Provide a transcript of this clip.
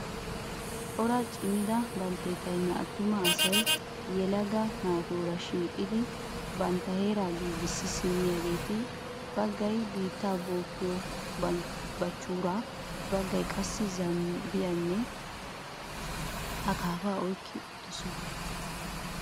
Cora cimida baltteetayinne attuma asayi yelaaga naatuura shiiqidi bantta heeraa giigissidi simmiyaageeta. Baggayi biitta bookkiyoo bachhuuraa, baggayi qassi zaabbiyaanne akaapaa oyikki uttidosonaa.